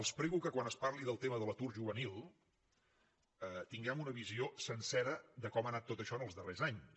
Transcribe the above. els prego que quan es parli del tema de l’atur juvenil tinguem una visió sencera de com ha anat tot això en els darrers anys